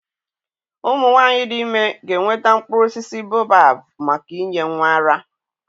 Ụmụ nwanyị dị ime ga-enweta mkpụrụ osisi baobab maka inye nwa ara.